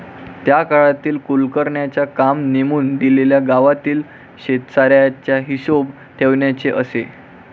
त्या काळातील कुलकर्ण्यांचे काम नेमून दिलेल्या गावातील शेतसाऱ्याचा हिशोब ठेवण्याचे असे.